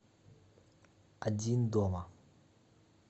один дома